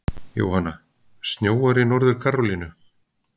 Jóhanna: Snjóar í Norður-Karólínu?